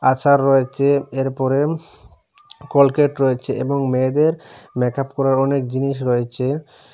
আচার রয়েছে এরপরে কলগেট রয়েছে এবং মেয়েদের মেকআপ করার অনেক জিনিস রয়েছে।